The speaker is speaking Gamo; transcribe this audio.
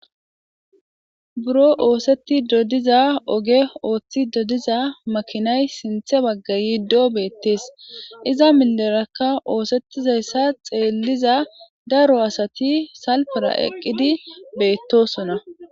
Buro oosettido diza ooge Ooththidi diza maakinay sinththe bagga yiiddo bettes iza milerakka oosetizayssa xelliza daro asatii salipera eqqidi bettosonna.